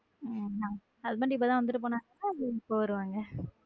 husband இப்பதான் வந்துட்டு போனாங்களா இல்ல எப்போ வருவாங்க?